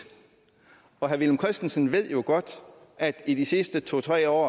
og herre villum christensen ved jo godt at i de sidste to tre år